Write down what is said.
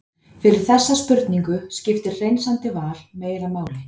fyrir þessa spurningu skiptir hreinsandi val meira máli